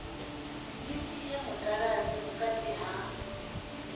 ni sie mutaladzi vhukati ha